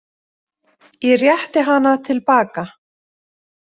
Ég rétti hana til baka.